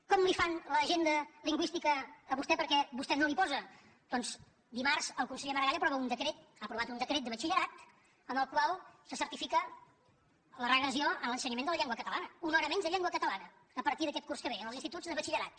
com li fan l’agenda lingüística a vostè perquè vostè no la hi posa doncs dimarts el conseller maragall aprova un decret ha aprovat un decret de batxillerat en el qual se certifica la regressió en l’ensenyament de la llengua catalana una hora menys de llengua catalana a partir d’aquest curs que ve en els instituts de batxillerat